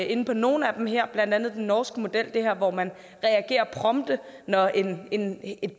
inde på nogle af dem her blandt andet den norske model hvor man reagerer prompte når et